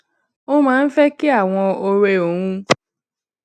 ó máa ń fé kí àwọn òré òun